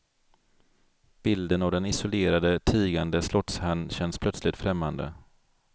Bilden av den isolerade, tigande slottsherrn känns plötsligt främmande.